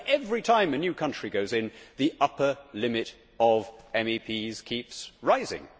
So every time a new country goes in, the upper limit of MEPs keeps rising.